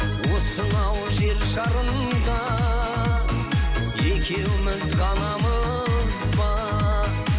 осынау жер шарында екеуміз ғанамыз ба